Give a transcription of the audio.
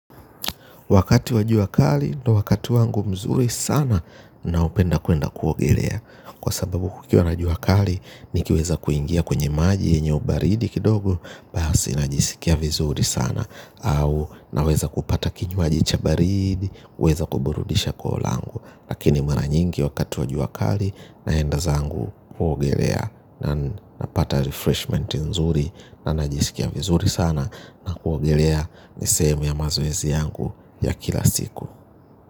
Wakati wa jua kali ndo wakati wangu mzuri sana naopenda kuenda kuogelea kwa sababu kukiwa na jua kali nikiweza kuingia kwenye maji yenye ubaridi kidogo basi najisikia vizuri sana au naweza kupata kinywaji cha baridi kuweza kuburudisha koo langu. Lakini mara nyingi wakati wa jua kali naenda zangu kuogelea. Na napata refreshment nzuri na najisikia vizuri sana. Na kuogolea ni sehemu ya mazoezi yangu ya kila siku.